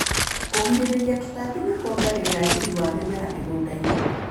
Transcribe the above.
Kũgirĩrĩria tutambi nĩkuongagĩrĩra riri wa mĩmera mũgundainĩ.